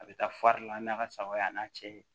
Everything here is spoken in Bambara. A bɛ taa fari la n'a ka sagaw y'a n'a cɛ ye